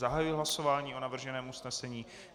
Zahajuji hlasování o navrženém usnesení.